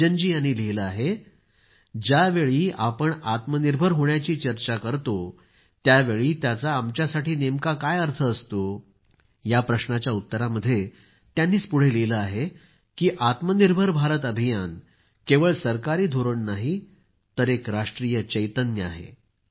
रंजन जी यांनी लिहिलं आहे ज्यावेळी आपण आत्मनिर्भर होण्याची चर्चा करतो त्यावेळी त्याचा आमच्यासाठी नेमका काय अर्थ असतो या प्रश्नाच्या उत्तरामध्ये त्यांनीच पुढं लिहिलं आहे की आत्मनिर्भर भारत अभियान केवळ सरकारी धोरण नाही तर एक राष्ट्रीय चैतन्य आहे